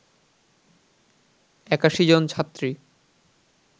৮১ জন ছাত্রী